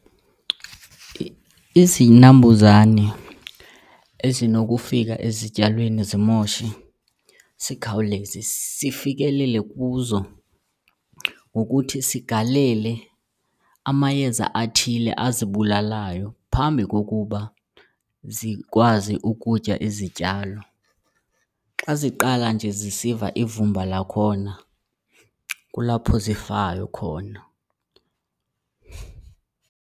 Izinambuzane ezinokufika ezityalweni zimoshe sikhawuleze sifikelele kuzo ngokuthi sigalele amayeza athile azibulalayo phambi kokuba zikwazi ukutya izityalo. Xa ziqala nje zisiva ivumba lakhona, kulapho zifayo khona.